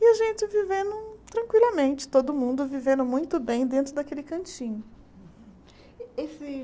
E a gente vivendo tranquilamente, todo mundo vivendo muito bem dentro daquele cantinho.